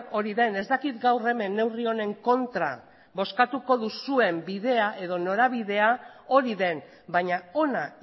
hori den ez dakit gaur hemen neurri honen kontra bozkatuko duzuen bidea edo norabidea hori den baina ona